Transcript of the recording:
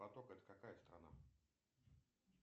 поток это какая страна